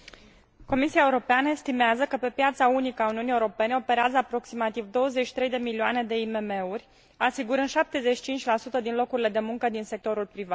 Comisia Europeană estimează că pe piața unică a Uniunii Europene operează aproximativ 23 de milioane de IMM uri, asigurând 75 din locurile de muncă din sectorul privat.